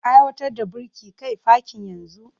Aiwatar da birki kai fakin yanzu!